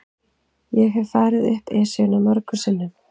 Ég hef farið upp Esjuna mörgum sinnum.